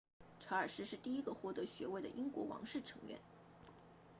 查尔斯是第一个获得学位的英国王室成员